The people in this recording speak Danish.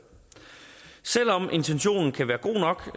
selv om intentionen kan være god nok